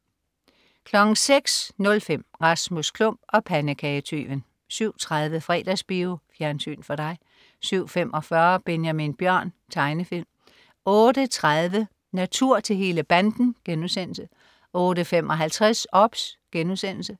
06.05 Rasmus Klump og pandekagetyven 07.30 Fredagsbio. Fjernsyn for dig 07.45 Benjamin Bjørn. Tegnefilm 08.30 Natur til hele banden* 08.55 OBS*